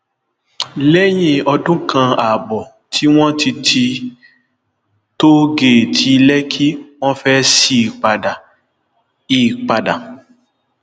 lẹyìn ọdún kan ààbọ tí wọn ti ti tóó géètì lẹkì wọn fẹẹ sí i padà i padà